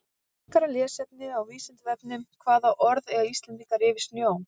Frekara lesefni á Vísindavefnum Hvaða orð eiga Íslendingar yfir snjó?